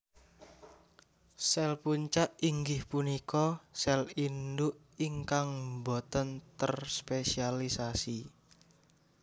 Sèl Punca inggih punika sèl induk ingkang botèn terspesialisasi